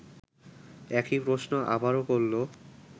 একই প্রশ্ন আবারও করল